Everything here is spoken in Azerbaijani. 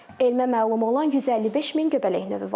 Elmə məlum olan 155 min göbələk növü var.